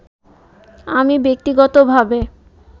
আমি ব্যক্তিগতভাবে